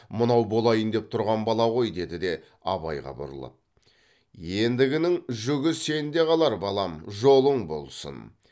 мынау болайын деп тұрған бала ғой деді де абайға бұрылып ендігінің жүгі сенде қалар балам жолың болсын